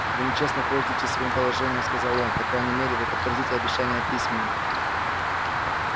вы нечестно пользуетесь своим положением сказал он по крайней мере вы подтвердите обещание письменно